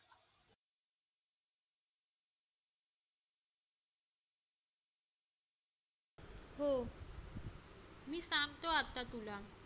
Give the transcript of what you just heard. हो मी सांगतो आता तुला